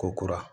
Ko kura